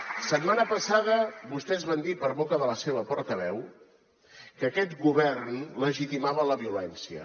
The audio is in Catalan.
la setmana passada vostès van dir per boca de la seva portaveu que aquest govern legitimava la violència